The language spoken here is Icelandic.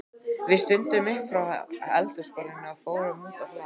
Við stöndum upp frá eldhúsborðinu og förum út á hlað.